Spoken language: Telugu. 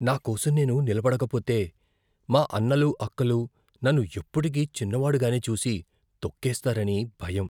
నా కోసం నేను నిలబడకపోతే, మా అన్నలు, అక్కలు నన్ను ఎప్పుటికీ చిన్నవాడిగానే చూసి, తొక్కేస్తారని భయం.